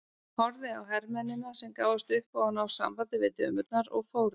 Horfði á hermennina sem gáfust upp á að ná sambandi við dömurnar og fóru.